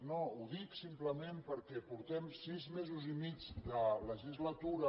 no ho dic simplement perquè fa sis mesos i mig que la legislatura